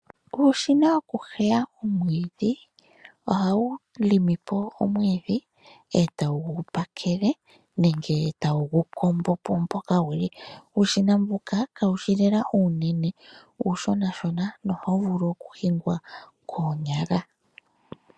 Uushina woku heya omwiidhi oha wu limi po mowiidhi etawu gu pakele nenge ta wu gu kombopo mpoka guli uushina mbuka kawushi lela uunene uushonashona nohawu vulu oku hingwa koonyala.